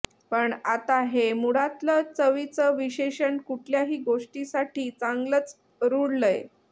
पण आता हे मुळातलं चवीचं विशेषण कुठल्याही गोष्टीसाठी चांगलंच रुळलंय